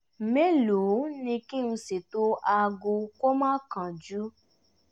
mẹ́lòó ni kí n ṣètò aago kó má kánjú?